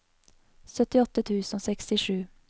syttiåtte tusen og sekstisju